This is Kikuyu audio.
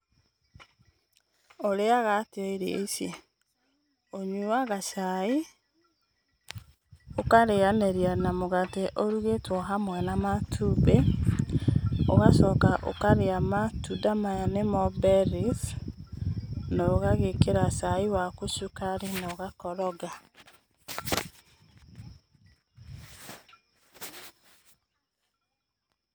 Ũrĩaga atĩa irio ici? Ũnyuaga cai, ũkarĩyanĩria na mũgate ũrugĩtwo hamwe na matumbĩ. Ũgacoka ũkarĩa matunda maya nĩmo berries, na ũgagĩkĩra cai waku cukari na ũgakoroga.